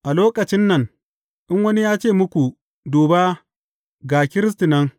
A lokacin nan, in wani ya ce muku, Duba, ga Kiristi nan!’